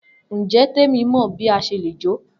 Njẹ Temi mọ bi a ṣe le jo?